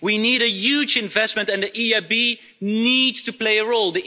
We need a huge investment, and the EIB needs to play a role.